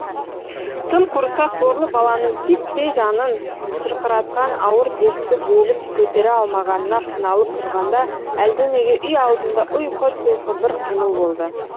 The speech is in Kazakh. тым құрыса сорлы баланың титтей жанын шырқыратқан ауыр дертті бөліп көтере алмағанына қиналып тұрғанда әлденеге үй алдында ұйқы тұйқы бір қимыл болды